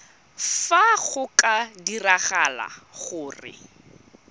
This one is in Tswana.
fa go ka diragala gore